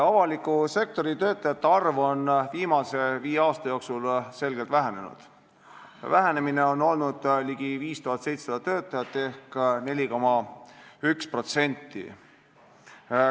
Avaliku sektori töötajate arv on viimase viie aasta jooksul selgelt vähenenud: vähenemine on olnud ligi 5700 töötajat ehk 4,1%.